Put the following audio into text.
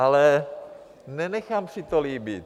Ale nenechám si to líbit.